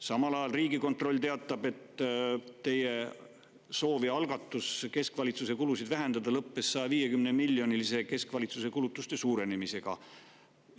Samal ajal Riigikontroll teatab, et teie soov ja algatus keskvalitsuse kulusid vähendada lõppes 150-miljonilise keskvalitsuse kulutuste suurenemisega.